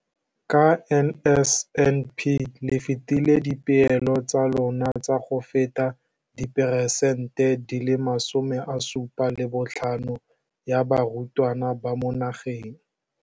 Ka NSNP le fetile dipeelo tsa lona tsa go fepa masome a supa le botlhano a diperesente ya barutwana ba mo nageng.